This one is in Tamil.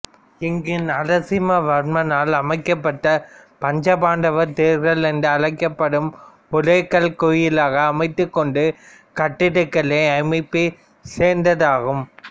இங்கு நரசிம்மவர்மனால் அமைக்கப்பட்ட பஞ்சபாண்டவர் தேர்கள் என்றழைக்கப்படுபவை ஒரே கல்லைக் கோயிலாக அமைத்துக் கொண்ட கட்டடக்கலை அமைப்பைச் சேர்ந்ததாகும்